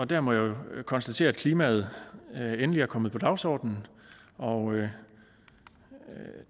der må jeg jo konstatere at klimaet endelig er kommet på dagsordenen og